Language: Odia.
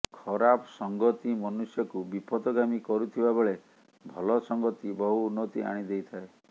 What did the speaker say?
ଖରାପ ସଂଗତି ମନୁଷ୍ୟକୁ ବିପଥଗାମୀ କରୁଥିବା ବେଳେ ଭଲ ସଂଗତି ବହୁ ଉନ୍ନତି ଆଣିଦେଇଥାଏ